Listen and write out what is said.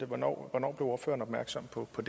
hvornår blev ordføreren opmærksom på på